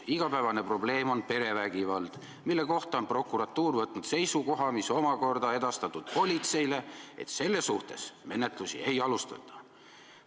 Igapäevane probleem on perevägivald, mille kohta on prokuratuur võtnud seisukoha, mis on omakorda edastatud politseile, et selle suhtes menetlusi ei alustata.